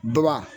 Baba